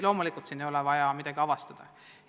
Loomulikult siin ei ole midagi avastada.